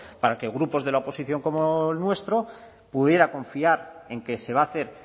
para que grupos de la oposición como el nuestro pudiera confiar en que se va a hacer